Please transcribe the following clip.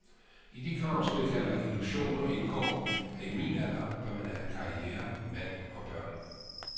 I de krav, som jeg kalder illusioner, indgår, at i min alder bør man have karriere mand og børn.